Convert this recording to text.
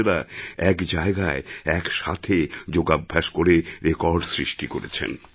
বোনেরা এক জায়গায় একসাথে যোগাভ্যাস করে রেকর্ড সৃষ্টি করেছেন